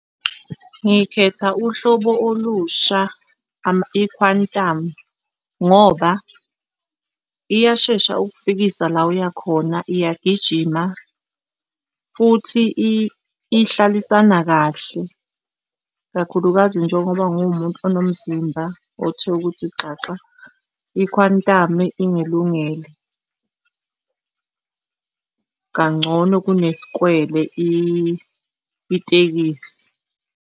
Ngikhetha uhlobo olusha i-Quantum ngoba iyashesha ukufikisa la oya khona iyagijima futhi ihlalisana kahle ikakhulukazi njengoba ngiwumuntu onomzimba othe ukuthi xaxa, i-Quantum-i ingilungele kangcono kunesikwele itekisi.